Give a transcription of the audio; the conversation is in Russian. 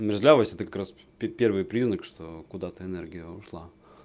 мерзлявость это как раз первый признак что куда-то энергия ушла